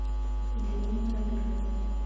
дрюни воробьева